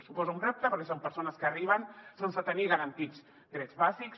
suposa un repte perquè són persones que arriben sense tenir garantits drets bàsics